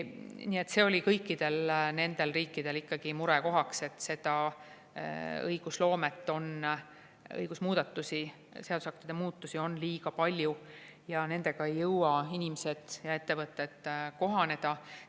Nii et see oli kõikidel nendel riikidel ikkagi murekohaks, et õigusloomet, seadusaktide muudatusi on liiga palju, inimesed ja ettevõtted ei jõua nendega kohaneda.